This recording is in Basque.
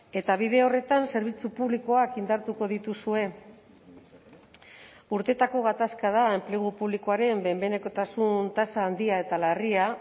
eta bide horretan zerbitzu publikoak indartuko dituzue urteetako gatazka da enplegu publikoaren behin behinekotasun tasa handia eta larria